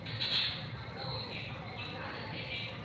எது choose பண்ணா கூட okay ma'am உங்களுக்கு அதே அதே time வந்து,